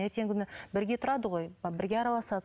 ертеңгі күні бірге тұрады ғой бірге араласады